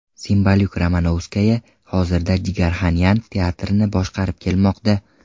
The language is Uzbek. Simbalyuk-Romanovskaya hozirda Jigarxanyan teatrini boshqarib kelmoqda.